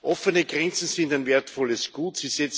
Offene Grenzen sind ein wertvolles Gut.